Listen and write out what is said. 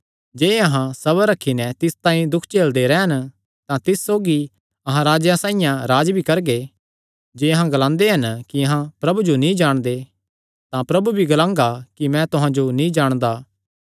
जे अहां सबर रखी नैं तिस तांई दुख झेलदे रैह़न तां तिस सौगी अहां राजेयां साइआं राज्ज भी करगे जे अहां ग्लांदे हन कि अहां प्रभु जो नीं जाणदे तां प्रभु भी ग्लांगा कि मैं तुहां जो नीं जाणदा